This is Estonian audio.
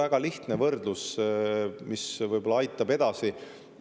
Väga lihtne võrdlus, mis võib-olla aitab edasi.